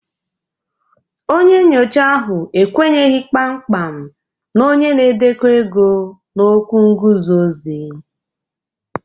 Onye nyocha ahụ ekwenyeghị kpamkpam na onye na-edekọ ego na okwu nguzozi